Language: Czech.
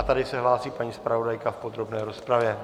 A tady se hlásí paní zpravodajka v podrobné rozpravě.